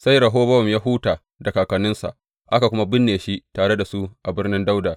Sai Rehobowam ya huta da kakanninsa, aka kuma binne shi tare da su a Birnin Dawuda.